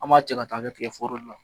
An b'a cɛ ka' kɛ tigɛ foro la.